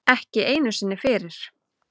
Ekki einu sinni fyrir